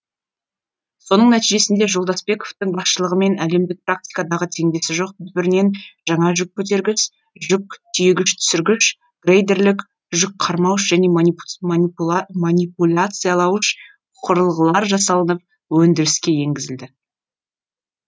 соның нәтижесінде жолдасбековтің басшылығымен әлемдік практикадағы теңдесі жоқ түбірінен жаңа жүк көтергіш жүк тиегіш түсіргіш грейдерлік жүк қармауыш және манипуляциялауыш құрылғылар жасалынып өндіріске енгізілді